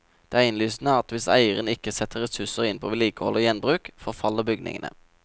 Det er innlysende at hvis eieren ikke setter ressurser inn på vedlikehold og gjenbruk, forfaller bygningene.